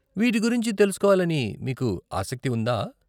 వీటి గురించి తెలుసుకోవాలని మీకు ఆసక్తి ఉందా?